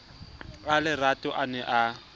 a lerato a ne a